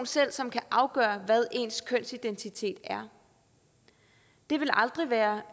selv som kan afgøre hvad ens kønsidentitet er det vil aldrig være